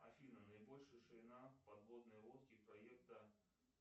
афина наибольшая ширина подводной лодки проекта